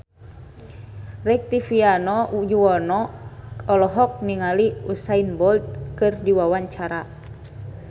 Rektivianto Yoewono olohok ningali Usain Bolt keur diwawancara